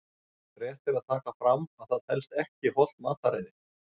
Rétt er að taka fram að það telst ekki hollt mataræði!